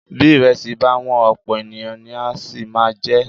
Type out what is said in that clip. Bí ìrẹsì bá wọ́n, ọ̀pọ̀ ènìyàn ni á sì máa jẹ ẹ́.